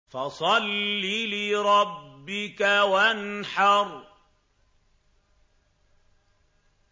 فَصَلِّ لِرَبِّكَ وَانْحَرْ